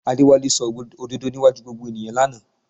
Adéwálé sọ òdodo níwájú gbogbo ènìyàn lánàá